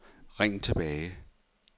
ring tilbage